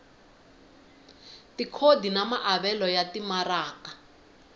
tikhodi na maavelo ya timaraka